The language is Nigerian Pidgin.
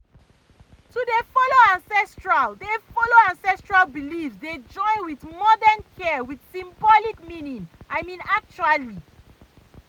to dey follow ancestral dey follow ancestral beliefs dey join with modern care with symbolic meaning i mean actually